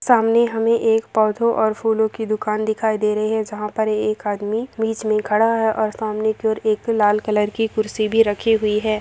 सामने हमे एक पौधों और फूलो की दुकान दिखाई दे रही है जहां पर एक आदमी बीच में खड़ा है और सामने की ओर एक लाल कलर की कुर्सी भी रखी हुई है।